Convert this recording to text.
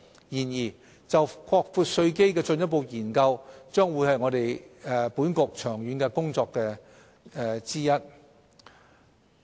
然而，就擴闊稅基的進一步研究將會是本局長遠的工作之一。